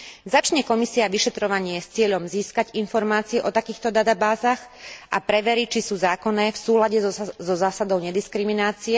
Začne Komisia vyšetrovanie s cieľom získať informácie o takýchto databázach a preverí, či sú zákonné v súlade so zásadou nediskriminácie?